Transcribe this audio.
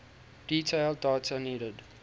detailed data needed